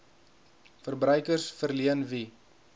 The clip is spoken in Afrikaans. verbruikers verleen wie